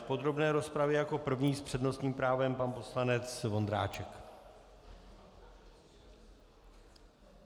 V podrobné rozpravě jako první s přednostním právem pan poslanec Vondráček.